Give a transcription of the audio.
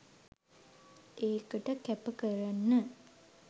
ඒකට කැපකරන